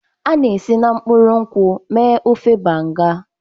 A na-esi na mkpụrụ nkwụ mee ofe Banga.